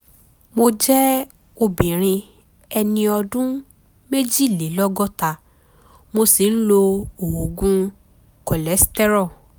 mo jẹ́ obìnrin ẹni ọdún méjìlélọ́gọ́ta mo sì ń lo oògùn cholesterol